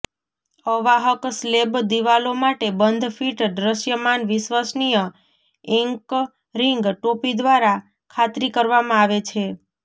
અવાહક સ્લેબ દિવાલો માટે બંધ ફિટ દ્રશ્યમાન વિશ્વસનીય એન્કરિંગ ટોપી દ્વારા ખાતરી કરવામાં આવે છે